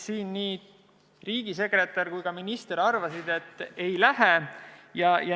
Nii riigisekretär kui ka minister arvasid, et ei lähe.